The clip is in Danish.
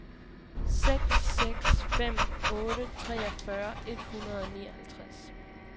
seks seks fem otte treogfyrre et hundrede og nioghalvtreds